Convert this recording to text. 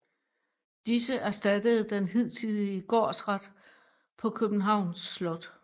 Disse erstattede den hidtidige gårdsret på Københavns Slot